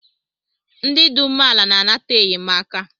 Ndị dị umeala na-anata enyemaka